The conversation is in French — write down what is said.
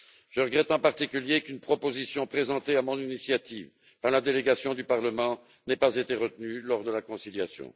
Je regrette en particulier qu'une proposition présentée à mon initiative par la délégation du Parlement n'ait pas été retenue lors de la conciliation.